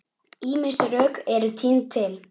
Ýmis rök eru tínd til.